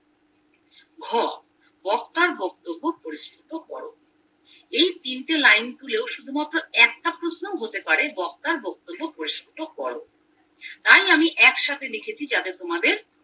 ঘ বক্তার বক্তব্য পরিস্রুত করো এই তিনটে লাইন তুলেও শুধুমাত্র একটা প্রশ্নও হতে পারে বক্তার বক্তব্য পরিস্রুত করো তাই আমি একসাথে রেখেছি যাতে তোমাদের